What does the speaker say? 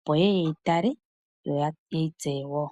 opo yeye yeyi tale , yo yeyi tseye woo.